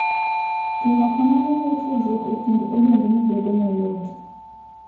Timo kamano miyo tudruok e kind ogendini bedo mayot.